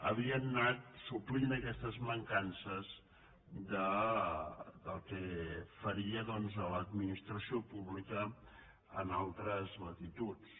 havien anat su·plint aquestes mancances del que faria doncs l’admi·nistració pública en altres latituds